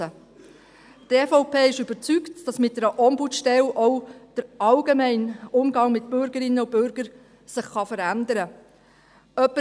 Die EVP ist überzeugt, dass sich mit der Ombudsstelle auch der allgemeine Umgang mit Bürgerinnen und Bürger verändern kann.